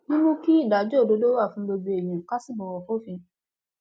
mímú kí ìdájọ òdodo wà fún gbogbo èèyàn ká sì bọwọ fòfin